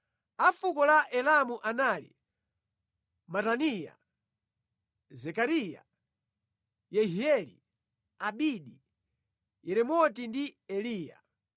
A fuko la Elamu anali Mataniya, Zekariya, Yehieli, Abidi, Yeremoti ndi Eliya.